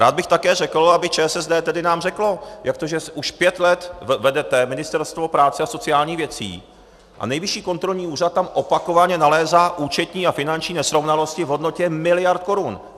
Rád bych také řekl, aby ČSSD tedy nám řeklo, jak to, že už pět let vedete Ministerstvo práce a sociálních věcí a Nejvyšší kontrolní úřad tam opakovaně nalézá účetní a finanční nesrovnalosti v hodnotě miliard korun?